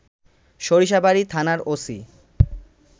সরিষাবাড়ি থানার ওসি